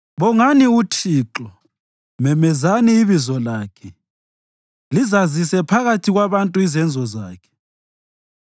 Bongani uThixo, memezani ibizo lakhe; lizazise phakathi kwabantu izenzo zakhe